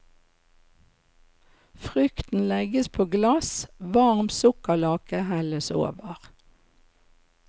Frukten legges på glass, varm sukkerlake helles over.